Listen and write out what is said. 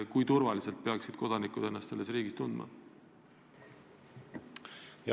Kui turvaliselt peaksid kodanikud ennast sellises riigis tundma?